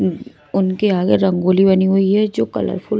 उनके आगे रंगोली बनी हुई है जो कलरफुल --